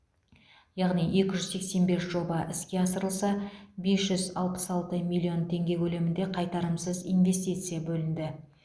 яғни екі жүз сексен бес жоба іске асырылса бес жүз алпыс алты миллион теңге көлемінде қайтарымсыз инвестиция бөлінді